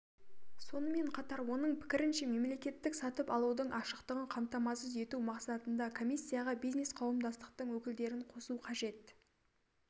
сонымен қатар оның пікірінше мемлекеттік сатып алудың ашықтығын қамтамасыз ету мақсатында комиссияға бизнес-қауымдастықтың өкілдерін қосу қажет